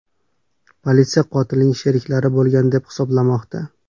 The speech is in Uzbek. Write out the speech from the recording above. Politsiya qotilning sheriklari bo‘lgan deb hisoblamoqda.